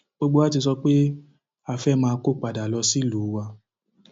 gbogbo wa ti sọ pé a fẹẹ máa kó padà lọ sílùú wa